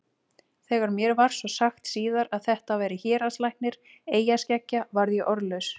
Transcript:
Þegar mér var svo sagt síðar að þetta væri héraðslæknir eyjaskeggja varð ég orðlaus.